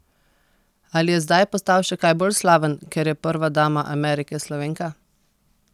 Ali je zdaj postal še kaj bolj slaven, ker je prva dama Amerike Slovenka?